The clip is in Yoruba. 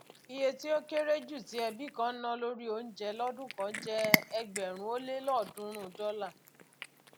iye tí ó kéré jù tí ẹbí kan ná lórí oúnjẹ lódún kan jẹ ẹgbẹrún ó lé òdúnrún dọlà